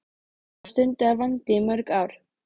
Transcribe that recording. Hvað stundaðirðu vændi í mörg ár?